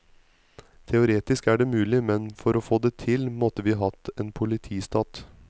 Teoretisk er det mulig, men for å få det til, måtte vi hatt en politistat.